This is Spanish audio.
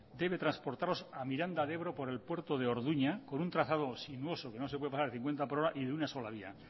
debe transportarlos a miranda de ebro por el puerto de orduña con un trazado sinuoso que no se puede pasar de cincuenta por hora y de una sola vía